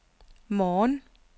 morgen